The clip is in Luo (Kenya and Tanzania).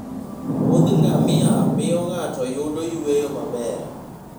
Wuodh ngamia miyo ng'ato yudo yueyo maber.